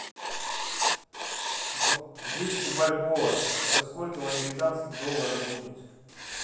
двести бальбоа это сколько в американских долларах будет